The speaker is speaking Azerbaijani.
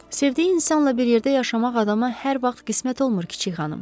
Sevdiyi insanla bir yerdə yaşamaq adama hər vaxt qismət olmur, kiçik xanım.